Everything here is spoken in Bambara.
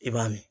I b'a min